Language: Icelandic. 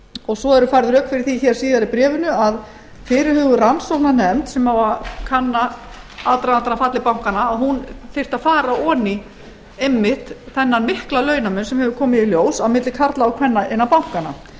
og svo eru færð rök fyrir því hér síðar í bréfinu að fyrirhuguð rannsóknarnefnd sem á að kanna aðdragandann að falli bankanna að hún þyrfti að fara ofan í einmitt þennan mikla launamun sem hefur komið í ljós á milli karla og kvenna innan bankanna